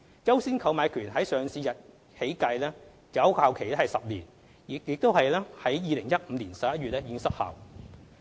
"優先購買權"自上市日起計，有效期10年，即已於2015年11月失效。